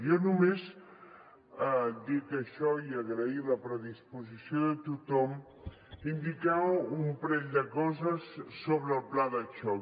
jo només dit això i agrair la predisposició de tothom indicar un parell de coses sobre el pla de xoc